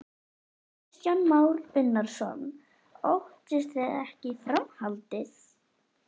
Kristján Már Unnarsson: Óttist þið ekki framhaldið?